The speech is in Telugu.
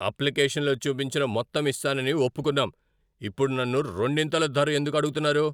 అప్లికేషన్లో చూపించిన మొత్తం ఇస్తానని ఒప్పుకున్నాం. ఇప్పుడు నన్ను రెండింతలు ధర ఎందుకు అడుగుతున్నారు?